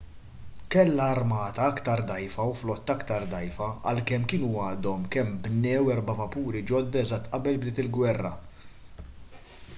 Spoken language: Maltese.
kellha armata aktar dgħajfa u flotta aktar dgħajfa għalkemm kienu għadhom kemm bnew erba' vapuri ġodda eżatt qabel bdiet il-gwerra